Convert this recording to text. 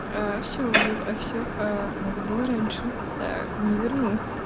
всё уже всё надо было раньше не верну